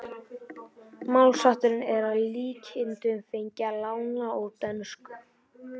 Málshátturinn er að líkindum fenginn að láni úr dönsku.